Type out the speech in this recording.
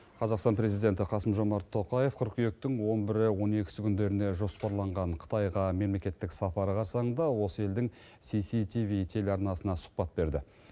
қазақстан президенті қасым жомарт тоқаев қыркүйектің он бірі он екісі күндеріде жоспарланған қытайға мемлекеттік сапары қарсаңында осы елдің сиси тиви телеарнасына сұхбат берді